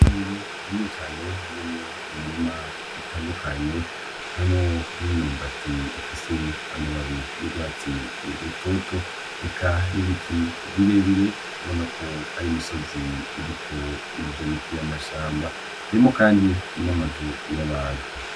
Itongo rinini cane ririmwo imirima itandukanye harimwo n'imyumbati ifise amababi y'urwatsi rutoto eka n'ibiti birebire ubona ko ari imisozi iriko ivyo biti vy'amashamba harimwo kandi n'amazu y'abantu.